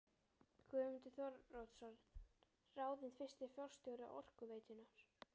Guðmundur Þóroddsson ráðinn fyrsti forstjóri Orkuveitunnar.